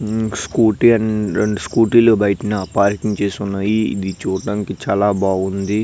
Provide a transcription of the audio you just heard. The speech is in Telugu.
ఈ స్కూటీ అండ్ రెండు స్కాటి లు బయటనే పార్కింగ్ చేసి వున్నాయ్ ఇది చూడడానికి చాల బాగుంది.